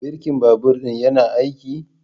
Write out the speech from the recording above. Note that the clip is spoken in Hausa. Birkin babur ɗin yana aiki?